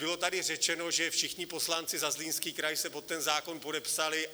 Bylo tady řečeno, že všichni poslanci za Zlínský kraj se pod ten zákon podepsali.